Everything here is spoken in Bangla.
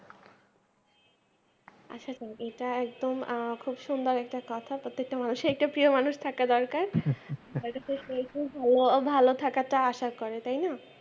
আসা করো এটা একদম আহ খুব সুন্দর একটা কথা প্রত্যেকটা মানুষের একটা প্রিয় মানুষ থাকা দরকার ভালো ভালো থাকাটা আশা করে তাইনা।